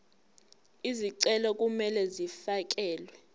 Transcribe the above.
izicelo kumele zifakelwe